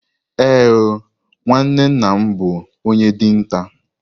Ee o, nwanne nna m bụ onye dinta.